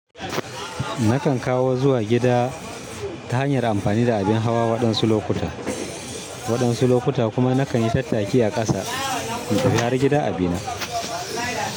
Nakan kawo zuwa gida ta hanyar amfani da abin hawa waɗansu lokuta, waɗansu lokuta kuma nakan yi tattaki a ƙasa in tafi har gida a bina.